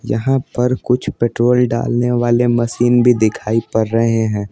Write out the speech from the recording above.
यहाँ पर कुछ पेट्रोल डालने वाले मशीन भी दिखाई पर रहे हैं।